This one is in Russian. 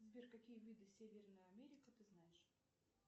сбер какие виды северная америка ты знаешь